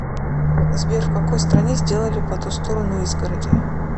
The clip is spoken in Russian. сбер в какой стране сделали по ту сторону изгороди